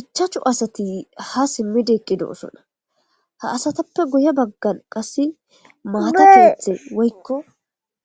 Ichachu asati ha simmide eqqidoosona ha asatappe guye baggan qasse maata keethe woykko